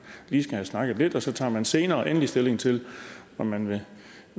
lige skal have snakket lidt og så tager man senere endelig stilling til om man vil